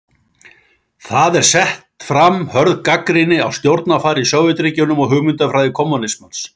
Þar er sett fram hörð gagnrýni á stjórnarfar í Sovétríkjunum og hugmyndafræði kommúnismans.